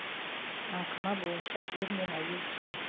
аңқыма бойынша ер мен әйел тең